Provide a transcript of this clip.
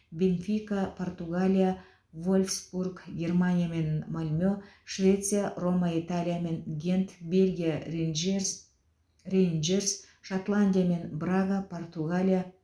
бенфика португалия вольфсбург германия мен мальме швеция рома италия мен гент бельгия рейнджерс рейнджерс шотландия мен брага португалия